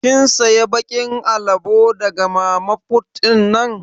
Kin siya bakin alabo daga mama fut din?